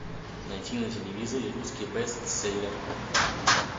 найти на телевизоре русский бестселлер